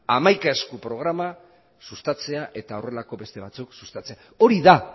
hamaika esku programa sustatzea eta horrelako beste batzuk sustatzea hori da